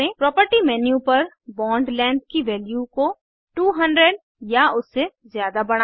property menu पर bond length की value को 200 या उससे ज़्यादा बढ़ाएं